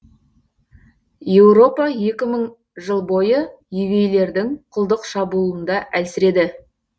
еуропа екі мың жыл бойы евейлердің құлдық шабуылында әлсіреді